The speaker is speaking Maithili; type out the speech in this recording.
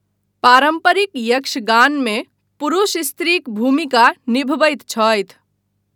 पारम्परिक यक्षगानमे पुरुष स्त्रीक भूमिका निभबैत छथि।